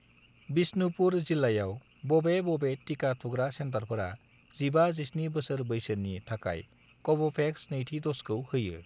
बिष्णुपुर जिल्लायाव, बबे बबे टिका थुग्रा सेन्टारफोरा 15 -17 बोसोर बैसोनि थाखाय कव'भेक्सनि नैथि द'जखौ होयो।